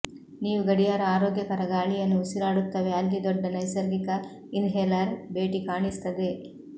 ನೀವು ಗಡಿಯಾರ ಆರೋಗ್ಯಕರ ಗಾಳಿಯನ್ನು ಉಸಿರಾಡುತ್ತವೆ ಅಲ್ಲಿ ದೊಡ್ಡ ನೈಸರ್ಗಿಕ ಇನ್ಹೇಲರ್ ಭೇಟಿ ಕಾಣಿಸುತ್ತದೆ